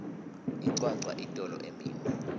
incwancwa itolo emini